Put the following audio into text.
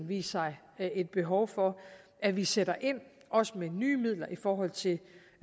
vise sig et behov for at vi sætter ind også med nye midler i forhold til